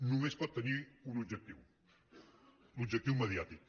només pot tenir un objectiu l’objectiu mediàtic